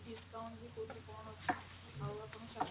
discount ବି କଉଥିରେ କଣ ଅଛି ଆଉ ଆପଣ